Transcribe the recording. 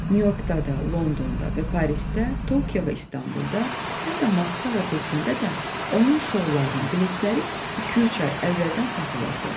Nyu-Yorkda da, Londonda və Parisdə, Tokiyo və İstanbulda, hətta Moskva və Pekində də onun şoularının biletləri iki-üç ay əvvəldən satılırdı.